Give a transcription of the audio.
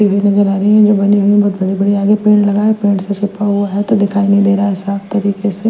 नज़र आ रही है जो बनी हुई है बहुत बड़े-बड़े आगे पेड़ लगा है पेड़ से छुपा हुआ है तो दिखाई नहीं दे रहा साफ तरीके से --